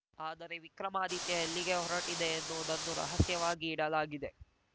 ಆದರೆ ವಿಕ್ರಮಾದಿತ್ಯ ಎಲ್ಲಿಗೆ ಹೊರಟಿದೆ ಎನ್ನುವುದನ್ನು ರಹಸ್ಯವಾಗಿ ಇಡಲಾಗಿದೆ